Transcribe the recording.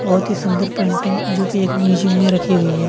बहूत ही सुंदर पेंटिग जो की मुजीयम में रखी हुई है।